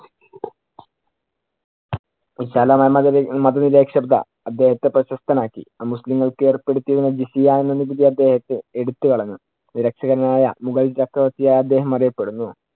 മത നിരപേക്ഷത അദ്ദേഹത്തെ പ്രശസ്തനാക്കി. അമുസ്ലിങ്ങള്‍ക്ക് ഏര്‍പ്പെടുത്തിയ ജെസിയ എന്ന നികുതി അദ്ദേഹം എടു~ എടുത്തു കളഞ്ഞു. രക്ഷകനായ മുഗൾ ചക്രവർത്തിയായി അദ്ദേഹം അറിയപ്പെടുന്നു.